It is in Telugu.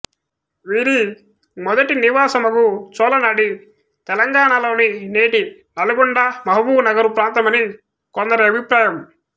వీరి మొదటి నివాసమగు చోళనాడి తెలంగాణలోని నేటి నల్గొండ మహబూబునగరు ప్రాంతమని కొందరి అభిప్రాయం